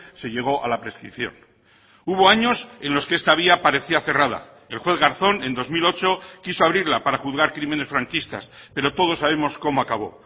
se llegó a la prescripción hubo años en los que esta vía parecía cerrada el juez garzón en dos mil ocho quiso abrirla para juzgar crímenes franquistas pero todos sabemos cómo acabo